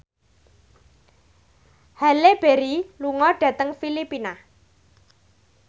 Halle Berry lunga dhateng Filipina